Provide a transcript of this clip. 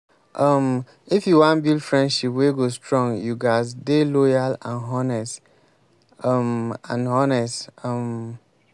um if you wan build friendship wey go strong you ghas dey loyal and honest. um and honest. um